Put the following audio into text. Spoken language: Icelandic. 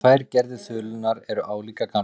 Þessar tvær gerðir þulunnar eru álíka gamlar.